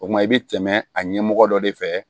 O kuma i bɛ tɛmɛ a ɲɛmɔgɔ dɔ de fɛ